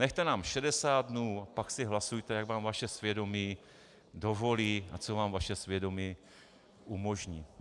Nechte nám 60 dnů a pak si hlasujte, jak vám vaše svědomí dovolí a co vám vaše svědomí umožní.